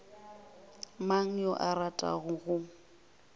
mang yo a ratago go